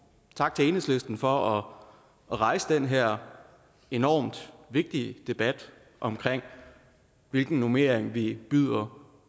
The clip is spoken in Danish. tak til enhedslisten for at rejse den her enormt vigtige debat om hvilken normering vi byder